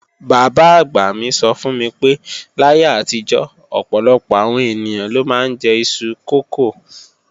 Bàbá àgbà mi sọ fún mi pé láyé àtijọ́, ọ̀pọ̀lọpọ̀ àwọn ènìyàn ló máa ń jẹ iṣu kókò